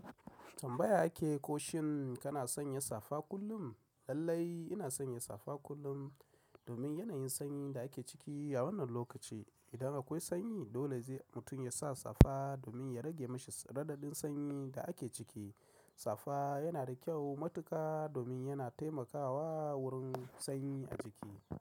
Tambaya ake ko shin kana sanya safa kullum? Lallai ina sanya safa kullum domin yanayin sanyi da ake ciki a wannan lokaci. Idan akwai sanyi dole sai mutum yasa safa domin ya rage mashi radadin sanyi da ake ciki. Safa yana da kyau matuka domin yana taimakawa wurin sanyi a jiki.